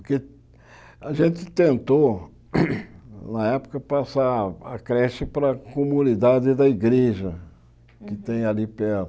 Porque a gente tentou, na época, passar a creche para a comunidade da igreja que tem ali